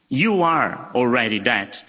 You are already that.